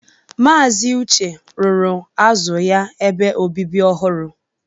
Maazi Uche rụrụ azu ya ebe obibi ọhụrụ